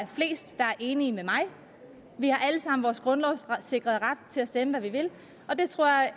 enige med mig vi har alle sammen vores grundlovssikrede ret til at stemme hvad vi vil og det tror jeg